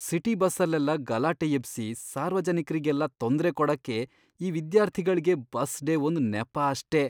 City ಬಸ್ಸಲ್ಲೆಲ್ಲ ಗಲಾಟೆ ಎಬ್ಸಿ ಸಾರ್ವಜನಿಕ್ರಿಗೆಲ್ಲ ತೊಂದ್ರೆ ಕೊಡಕ್ಕೆ ಈ ವಿದ್ಯಾರ್ಥಿಗಳ್ಗೆ ಬಸ್ ಡೇ ಒಂದ್ ನೆಪ ಅಷ್ಟೇ.